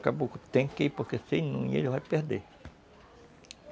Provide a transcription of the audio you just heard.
O caboclo que tem que ir, porque se não ir ele vai perder.